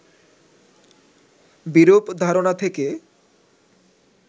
বিরূপ ধারণা থেকে